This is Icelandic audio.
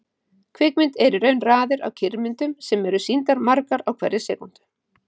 Kvikmynd er í raun raðir af kyrrmyndum sem eru sýndar margar á hverri sekúndu.